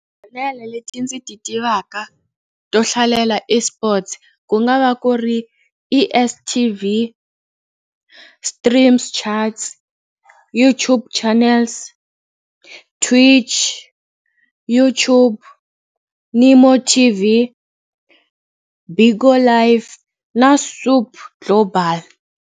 leti ndzi ti tivaka to hlalela eSports ku nga va ku ri E_S_T_V, Streams Charts, YouTube channels, Twitch, YouTube ni MoreTV, Bigo Live na global.